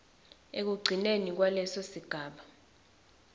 ekugcineni kwaleso sigaba